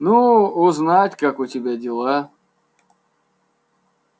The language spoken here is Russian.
ну узнать как у тебя дела